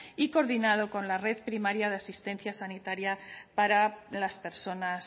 y coordinado con la red primaria de asistencia sanitaria para las personas